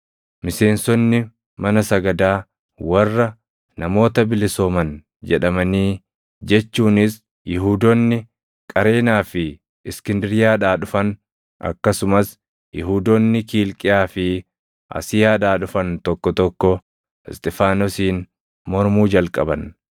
Miseensonni mana sagadaa warra, “Namoota bilisooman” jedhamanii, jechuunis Yihuudoonni Qareenaa fi Iskindiriyaadhaa dhufan akkasumas Yihuudoonni Kiilqiyaa fi Asiyaadhaa dhufan tokko tokko Isxifaanosiin mormuu jalqaban.